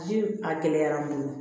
Ji a gɛlɛyara n bolo